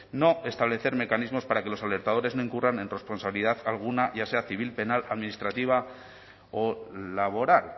no establecer mecanismos para que los alertadores no incurran en responsabilidad alguna ya sea civil penal administrativa o laboral